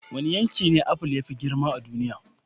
Wane yanki ne apple ya fi girma a duniya?